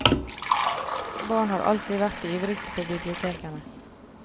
Barn har alltid vært de ivrigste på bibliotekene.